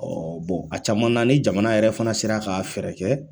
Ɔ bɔn a caman na ni jamana yɛrɛ fana sera ka fɛrɛ kɛ.